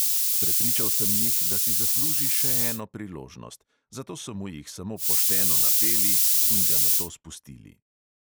Prepričal sem jih, da si zasluži še eno priložnost, zato so mu jih samo pošteno napeli in ga nato spustili.